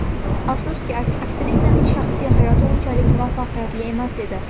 Afsuski, aktrisaning shaxsiy hayoti unchalik muvaffaqiyatli emas edi.